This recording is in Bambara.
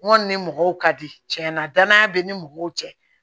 N kɔni ni mɔgɔw ka di tiɲɛna danaya bɛ ni mɔgɔw cɛ